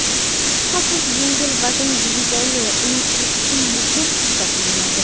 Shubhasiz, yengil vazn divizioni uning uchun muhim hisoblanadi.